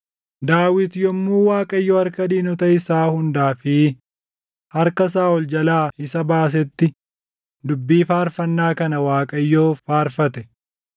Daawit yommuu Waaqayyo harka diinota isaa hundaa fi harka Saaʼol jalaa isa baasetti dubbii Faarfannaa kana Waaqayyoof faarfate.